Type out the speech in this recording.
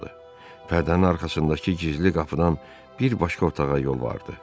Pərdənin arxasındakı gizli qapıdan bir başqa otağa yol vardı.